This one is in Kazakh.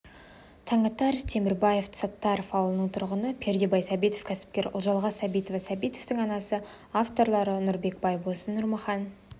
таңатар темірбаев саттаров ауылының тұрғыны пердебай сәбитов кәсіпкер ұлжалғас сәбитова сәбитовтің анасы авторлары нұрбек байбосын нұрмахан